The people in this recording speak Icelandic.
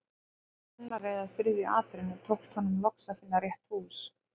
Í annarri eða þriðju atrennu tókst honum loks að finna rétt hús.